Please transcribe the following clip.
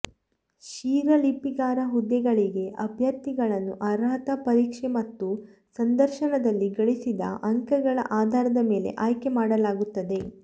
ಶೀಘ್ರಲಿಪಿಗಾರ ಹುದ್ದೆಗಳಿಗೆ ಅಭ್ಯರ್ಥಿಗಳನ್ನು ಅರ್ಹತಾ ಪರೀಕ್ಷೆ ಮತ್ತು ಸಂದರ್ಶನದಲ್ಲಿ ಗಳಿಸಿದ ಅಂಕಗಳ ಆಧಾರದ ಮೇಲೆ ಆಯ್ಕೆ ಮಾಡಲಾಗುತ್ತದೆ